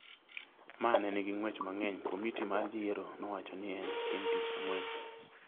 ma ne nigi ng’wech mang’eny, komiti mar yiero nowacho ni en chieng’ tich ang’wen.